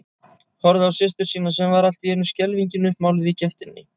Horfði á systur sína sem var allt í einu skelfingin uppmáluð í gættinni.